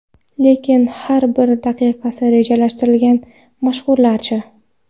Lekin har bir daqiqasi rejalashtirilgan mashhurlar-chi?